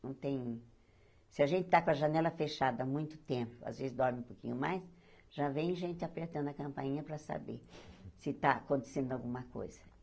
Não tem... Se a gente tá com a janela fechada há muito tempo, às vezes dorme um pouquinho mais, já vem gente apertando a campainha para saber se está acontecendo alguma coisa.